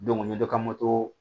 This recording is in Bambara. n ye dɔ ka moto